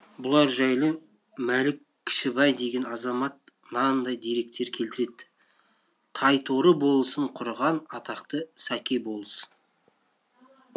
бұлар жайлы мәлік кішібай деген азамат мынандай деректер келтіреді тайторы болысын құрған атақты сәке болыс